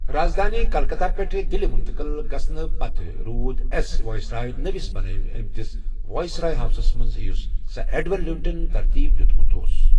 رازدٲنہِ کلکتہ پٮ۪ٹھ دِلہِ مُنتقل گژھنہٕ پتہٕ روٗد ایس وائس رائے نوِس بناونہٕ آمتِس وائس رائے ہاؤسس منز یُس سر ایڈون لیوٹینن ترتیب دِیوٗتمٗت اوس ۔